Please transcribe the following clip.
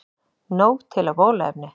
Nóg til af bóluefni